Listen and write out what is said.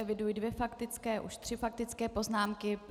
Eviduji dvě faktické, už tři faktické poznámky.